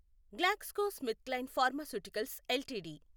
GlaxoSmithKline pharmaceuticals LTD